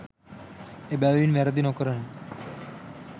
එබැවින් වැරැදි නොකරන